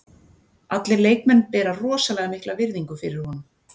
Allir leikmenn bera rosalega mikla virðingu fyrir honum.